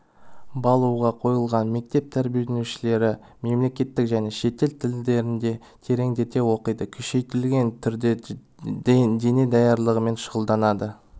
баулуға қойылған мектеп тәрбиеленушілері мемлекеттік және шетел тілдерін тереңдете оқиды күшейтілген түрде дене даярлығымен шұғылданады